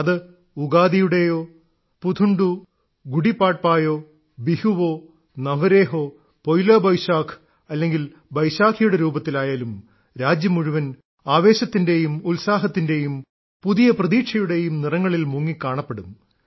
അത് ഉഗാദിയുടേയോ പുഥൺഡു ഗുഡിപാഡ്പായോ ബിഹുവോ നവരേഹ്ഓ പോയ്ലാ ബൊയിശാഖ് അല്ലെങ്കിൽ ബൈശാഖിയുടെ രൂപത്തിലായാലും രാജ്യം മുഴുവൻ ആവേശത്തിന്റെയും ഉത്സാഹത്തിന്റെയും പുതിയ പ്രതീക്ഷയുടെയും നിറങ്ങളിൽ മുങ്ങി കാണപ്പെടും